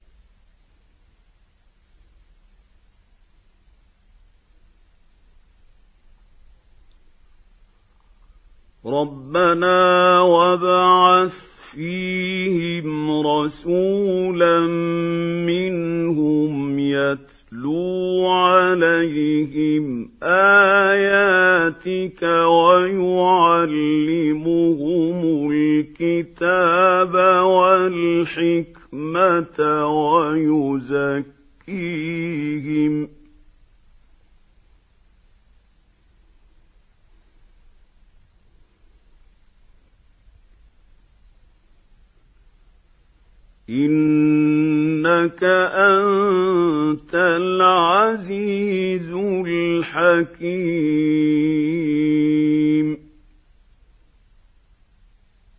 رَبَّنَا وَابْعَثْ فِيهِمْ رَسُولًا مِّنْهُمْ يَتْلُو عَلَيْهِمْ آيَاتِكَ وَيُعَلِّمُهُمُ الْكِتَابَ وَالْحِكْمَةَ وَيُزَكِّيهِمْ ۚ إِنَّكَ أَنتَ الْعَزِيزُ الْحَكِيمُ